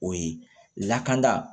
O ye lakana